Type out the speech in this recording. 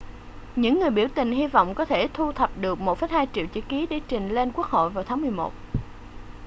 những người biểu tình hy vọng có thể thu thập được 1,2 triệu chữ ký để trình lên quốc hội vào tháng 11